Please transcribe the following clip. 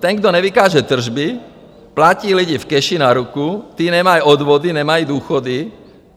Ten, kdo nevykáže tržby, platí lidi v keši na ruku, ti nemají odvody, nemají důchody.